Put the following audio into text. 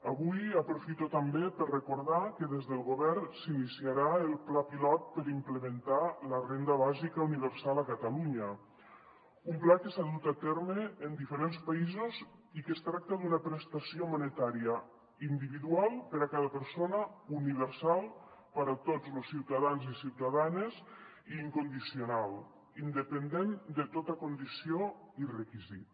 avui aprofito també per recordar que des del govern s’iniciarà el pla pilot per implementar la renda bàsica universal a catalunya un pla que s’ha dut a terme en diferents països i que es tracta d’una prestació monetària individual per a cada persona universal per a tots los ciutadans i ciutadanes i incondicional independent de tota condició i requisit